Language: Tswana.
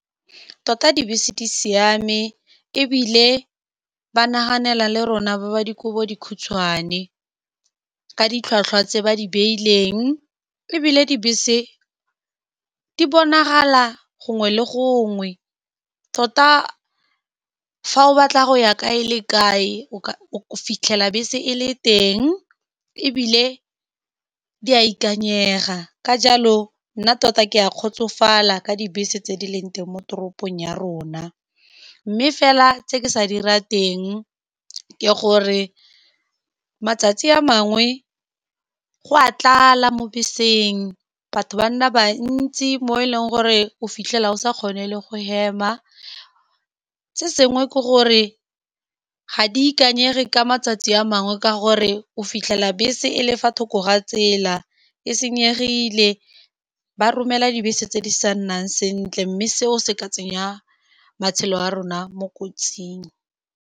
Tota dibese di siame ebile ba naganela le rona, ba ba dikobo di khutshwane ka ditlhwatlhwa tse ba di beileng, ebile dibese di bonagala gongwe le gongwe, tota fa o batla go ya kae le kae, o ka fitlhela bese e le teng ebile di a ikanyega. Ka jalo nna tota ke a kgotsofala ka dibese tse di leng teng mo toropong ya rona, mme fela tse ke sa di rateng ke gore matsatsi a mangwe go a tlala mo beseng batho bantsi mo e leng gore o fitlhela o sa kgone le go hema, se sengwe ke gore ga di ikanyege ka matsatsi a mangwe ka gore o fitlhela bese e le fa thoko ga tsela e senyegile, ba romela dibese tse di sa nnang sentle mme seo se ka tsenya matshelo a rona mo kotsing.